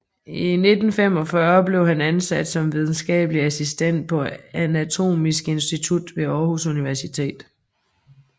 I 1945 blev han ansat som videnskabelig assistent på Anatomisk Institut ved Aarhus Universitet